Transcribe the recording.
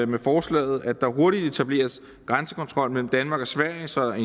med forslaget at der hurtigt etableres grænsekontrol mellem danmark og sverige sådan at